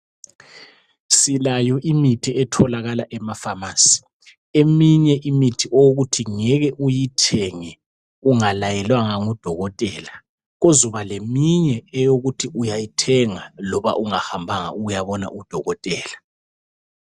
Silayo imithi etholakala emafamasi eminye imithi okuthi ngeke uyithenge ungalayelwanga ngudokotela, kuzoba leminye eyokuthi uyayithenga loba ungahambanga ukuyabona udokotela.